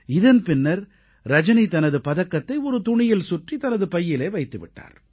இதன் பின்னர் ரஜனி தனது பதக்கத்தை ஒரு துணியில் சுற்றி தனது பையிலே வைத்து விட்டார்